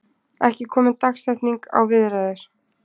Ekki komin dagsetning á viðræður